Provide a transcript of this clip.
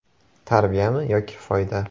Tarbiyami yoki foyda?”.